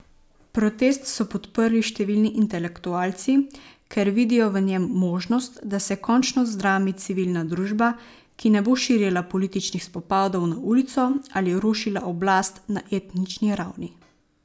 Protest so podprli številni intelektualci, ker vidijo v njem možnost, da se končno zdrami civilna družba, ki ne bo širila političnih spopadov na ulico ali rušila oblast na etnični ravni.